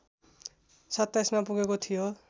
२७ मा पुगेको थियो